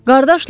Qardaşlarım!